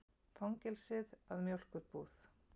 Fangelsið að mjólkurbúð.